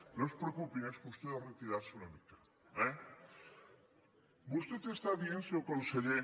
no es preocupin és qüestió de retirar se una mica eh vostè està dient senyor conseller